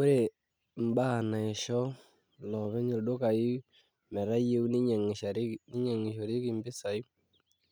Ore imbaa naisho ilopeny ildukai, metayieu nenyiangishore empisai,